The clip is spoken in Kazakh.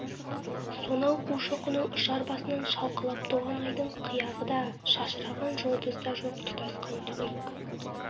сонау қушоқының ұшар басынан шалқалап туған айдың қияғы да шашыраған жұлдыз да жоқ тұтасқан түнек